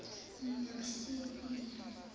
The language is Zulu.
masibiya